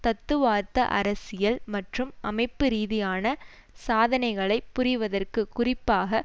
தத்துவார்த்த அரசியல் மற்றும் அமைப்பு ரீதியான சாதனைகளை புரிவதற்கு குறிப்பாக